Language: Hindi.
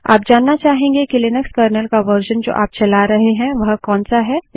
आप जानना चाहेंगे कि लिनक्स कर्नल का वर्श़न जो आप चला रहे हैं वह कौन सा है